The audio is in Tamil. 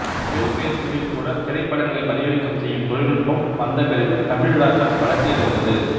செல்பேசிகளில்கூட திரைப்படங்களை பதிவிறக்கம் செய்யும் தொழில்நுட்பம் வந்த பிறகு தமிழ் ராக்கர்ஸ் வளர்ச்சி அடைந்தது